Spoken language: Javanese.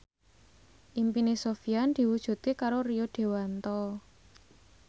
impine Sofyan diwujudke karo Rio Dewanto